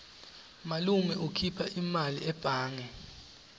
malume ukhipha imali ebhange